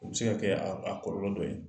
O be se ka kɛ aa a kɔlɔlɔ dɔ ye.